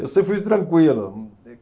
Eu sempre fui tranquilo.